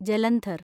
Jalandhar